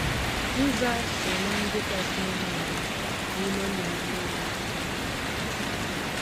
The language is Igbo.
Nza so ná ndị kasị ọnụ ala n'ime nnụnụ nile e ji eri nri.